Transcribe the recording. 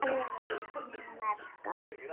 Þar eru einnig merkar